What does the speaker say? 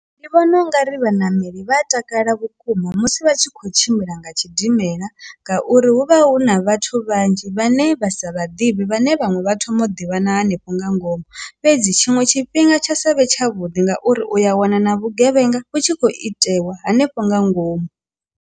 Ndi vhona ungari vhaṋameli vha a takala vhukuma musi vha tshi khou tshimbila nga tshidimela ngauri hu vha hu na vhathu vhanzhi vhane vha sa vhaḓivhe vhane vhaṅwe vha thoma u ḓivha na hanefho nga ngomu, fhedzi tshiṅwe tshifhinga tsha sa vhe tshavhuḓi ngauri uya wana na vhugevhenga vhu tshi khou itelwa hanefho nga ngomu.